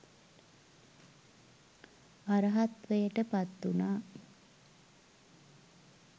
අරහත්වයට පත්වුණා.